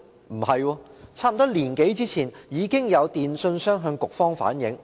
不是，差不多一年多前，已經有電訊商向局方反映。